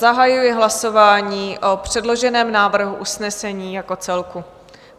Zahajuji hlasování o předloženém návrhu usnesení jako celku.